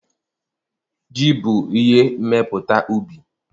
Ji bụ ihe mmepụta ubi.